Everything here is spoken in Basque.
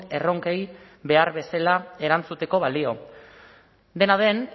erronkei behar bezala erantzuteko balio dena den